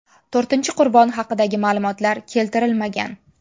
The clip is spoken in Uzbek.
To‘rtinchi qurbon haqidagi ma’lumotlar keltirilmagan.